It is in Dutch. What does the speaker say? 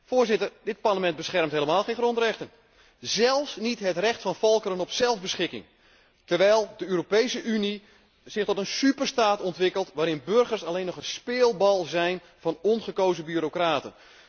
Voorzitter, dit Parlement beschermt helemaal geen grondrechten, zelfs niet het recht van volkeren op zelfbeschikking, terwijl de Europese Unie zich tot een superstaat ontwikkelt, waarin burgers alleen nog een speelbal zijn van ongekozen bureaucraten.